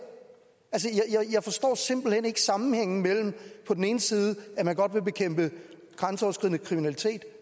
jeg forstår simpelt hen ikke sammenhængen mellem på den ene side at man godt vil bekæmpe grænseoverskridende kriminalitet